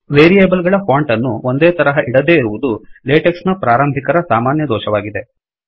variable ಗಳ font ಅನ್ನು ಒಂದೇ ತರಹ ಇಡದೇ ಇರುವದು ಲೇಟೆಕ್ಸ್ ನ ಪ್ರಾರಂಭಿಕರ ಸಾಮಾನ್ಯ ದೋಷವಾಗಿದೆ